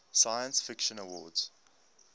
science fiction awards